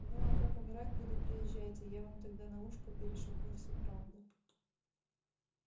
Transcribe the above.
ну а как умирать буду приезжайте я вам тогда на ушко перешепну всю правду